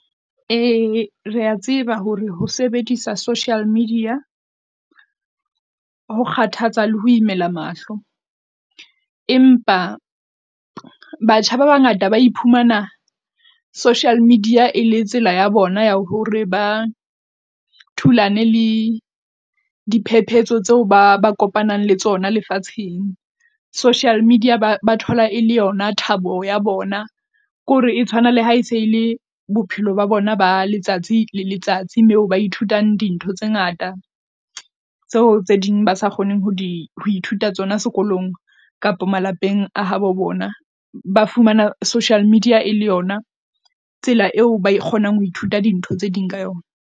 E re a tseba hore ho sebedisa social media ho kgathatsa le ho imela mahlo, empa batjha ba bangata ba iphumana social media e le tsela ya bona ya hore ba thulane le diphephetso tseo ba ba kopanang le tsona lefatsheng. Social media ba thola e le yona thabo ya bona ke hore e tshwana le ha e se ele bophelo ba bona ba letsatsi le letsatsi, moo ba ithutang dintho tse ngata tseo tse ding ba sa kgoneng ho di ho ithuta tsona sekolong kapa malapeng a habo bona, ba fumana social media e le yona tsela eo ba kgonang ho ithuta dintho tse ding ka yona.